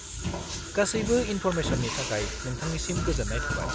-गासैबो इनफ'रमेसननि थाखाय नोंथांनिसिम गोजोन्नाय थाबाय।